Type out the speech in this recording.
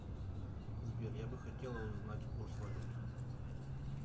сбер я бы хотела узнать курс валют